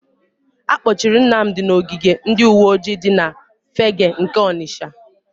Akpọchiri Nnamdị n'ogige ndịuweojii dị na Fegge nke Ọnịsha.